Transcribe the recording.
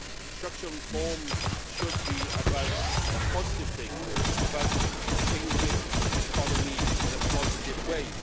Structural reforms should be about positive things and about changing an economy in a positive way.